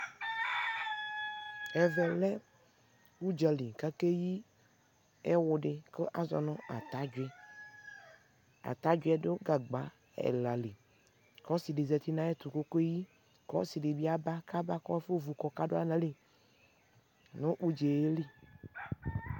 ɛvɛ lɛ ʋdzali kʋakɛyi ɛwʋ di kʋazɔnʋ atadwi, atadwiɛ dʋ gagba ɛla li kʋ ɔsii di zati nʋ ayɛtʋ kʋ ɔkɛyi, ɔsii dibi aba kʋ aba kʋ aƒɔ vʋ kʋ ɔka dʋala nʋali nʋ ʋdzali